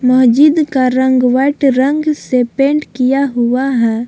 महजीद का रंग वाइट रंग से पेंट किया हुआ है।